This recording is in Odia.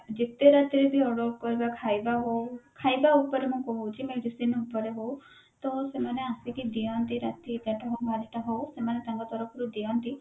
ଯେତେ ରାତିରେ ବି order କରିବା ଖାଇବା ହଉ ଖାଇବା ଉପରେ ମୁଁ କହୁଛି medicine ଉପରେ ହଉ ତ ସେମାନେ ଆସିକି ଦିଅନ୍ତି ରାତି ଏଗାରଟା ହଉ ବାରଟା ହଉ ସେମାନେ ତାଙ୍କ ତରଫରୁ ଦିଅନ୍ତି